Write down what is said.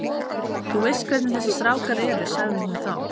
Þú veist hvernig þessir strákar eru sagði hún þá.